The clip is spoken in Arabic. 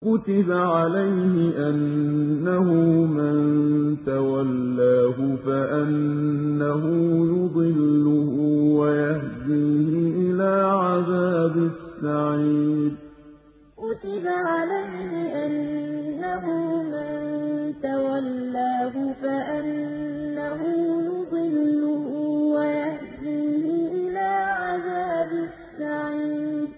كُتِبَ عَلَيْهِ أَنَّهُ مَن تَوَلَّاهُ فَأَنَّهُ يُضِلُّهُ وَيَهْدِيهِ إِلَىٰ عَذَابِ السَّعِيرِ كُتِبَ عَلَيْهِ أَنَّهُ مَن تَوَلَّاهُ فَأَنَّهُ يُضِلُّهُ وَيَهْدِيهِ إِلَىٰ عَذَابِ السَّعِيرِ